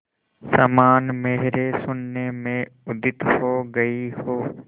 समान मेरे शून्य में उदित हो गई हो